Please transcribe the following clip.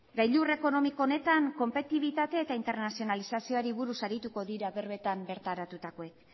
gailur ekonomiko honetan konpetibitate eta internazionalizazioari buruz arituko dira berbetan bertaratutakoek